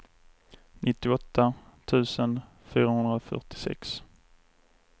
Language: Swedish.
nittioåtta tusen fyrahundrafyrtiosex